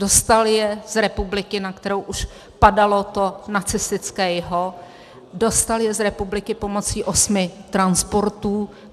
Dostal je z republiky, na kterou už padalo to nacistické jho, dostal je z republiky pomocí osmi transportů.